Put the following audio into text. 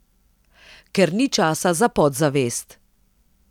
Ker ni časa za podzavest.